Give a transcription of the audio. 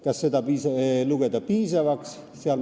Kas seda lugeda piisavaks?